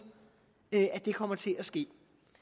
kommer til at ske